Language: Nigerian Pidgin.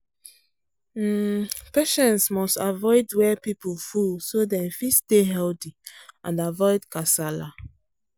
um patients must avoid where people full so dem fit stay healthy and avoid kasala